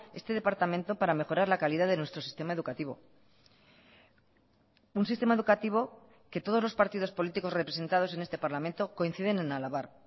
este departamento para mejorar la calidad de nuestro sistema educativo un sistema educativo que todos los partidos políticos representados en este parlamento coinciden en alabar